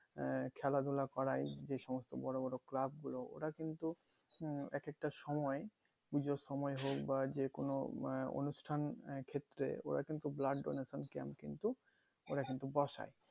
আহ খেলা ধুলা করাই যে সমস্ত বড়ো বড়ো club গুলো ওরা কিন্তু উম এক একটা সময় পুজোর সময় হোক বা যেকোনো আহ অনুষ্ঠান ক্ষেত্রে আহ ওরা কিন্তু blood donation camp কিন্তু ওরা কিন্তু বসায়